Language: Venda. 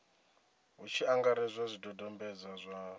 hu tshi angaredzwa zwidodombedzwa zwa